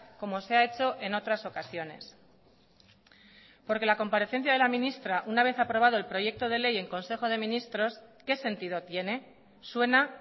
como se ha hecho en otras ocasiones porque la comparecencia de la ministra una vez aprobado el proyecto de ley en consejo de ministros qué sentido tiene suena